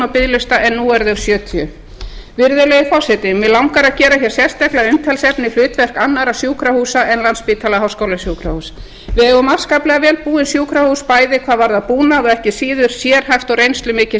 biðlista en á eru þau sjötíu virðulegur forseti mig langar að gera sérstaklega að umtalsefni hlutverk annarra sjúkrahúsa en landspítala háskólasjúkrahúss við eigum afskaplega vel búin sjúkrahús bæði hvað varðar búnað og ekki síður sérhæft og reynslumikið